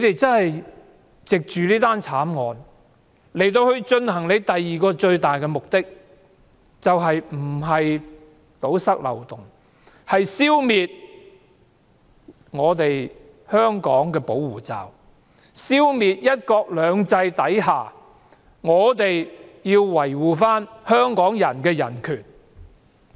政府藉着這宗慘案以進行的最大目的，不是要堵塞漏洞，而是消滅香港的保護罩，消滅"一國兩制"下香港人所享有的人權。